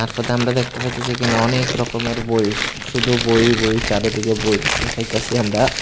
সাথে আমরা দেখতে পাইতেসি এখানে অনেক রকমের বই শুধু বই বই চারদিকে বই দেখতে পাইতাসি আমরা।